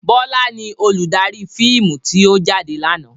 Bọlá ni olùdarí fíìmù tí ó jáde lànà.